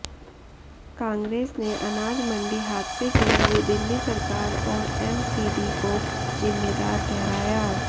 कांग्रेस ने अनाज मंडी हादसे के लिए दिल्ली सरकार और एमसीडी को जिम्मेदार ठहराया